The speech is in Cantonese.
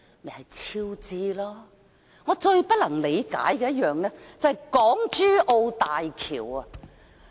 而我最不能理解的一個項目，就是港珠澳大橋。